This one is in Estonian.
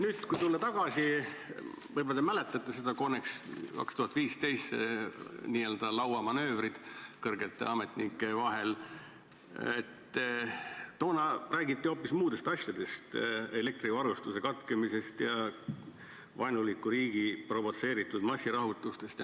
" Nüüd, kui minna tagasi – võib-olla te mäletate seda CONEX-it, n-ö lauamanöövreid kõrgete ametnike vahel –, siis toona räägiti hoopis muudest asjadest, näiteks elektrivarustuse katkemisest ja vaenuliku riigi provotseeritud massirahutustest.